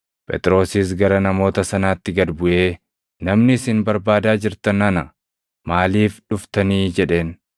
Phexrosis gara namoota sanaatti gad buʼee, “Namni isin barbaadaa jirtan ana; maaliif dhuftani?” jedheen.